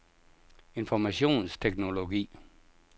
informationsteknologi